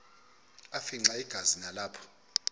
afimxa igazi nalapho